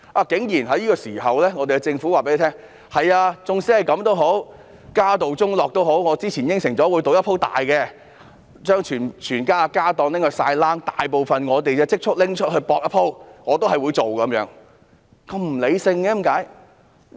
在這個時候，政府竟然告訴大家儘管如此，即使家道中落，因為它之前答應了會賭一把，要將全部家當拿去賭、把大部分積蓄拿去"博一鋪"，它仍然要這樣做，為何會那麼不理性呢？